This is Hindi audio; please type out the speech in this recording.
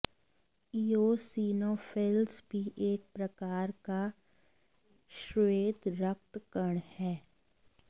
ईयोसिनोफिल्स भी एक प्रकार का श्वेत रक्त कण है